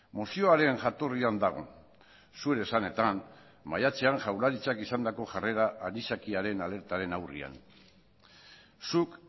mozioaren jatorrian dago zure esanetan maiatzean jaurlaritzak izandako jarrera anisakiaren alertaren aurrean zuk